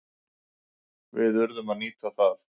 Við urðum að nýta það.